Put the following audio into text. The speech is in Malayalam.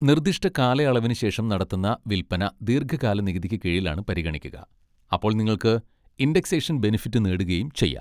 നിർദിഷ്ട കാലയളവിനുശേഷം നടത്തുന്ന വില്പന ദീർഘകാല നികുതിക്ക് കീഴിലായാണ് പരിഗണിക്കുക, അപ്പോൾ നിങ്ങൾക്ക് ഇൻഡെക്സേഷൻ ബെനിഫിറ്റ് നേടുകയും ചെയ്യാം.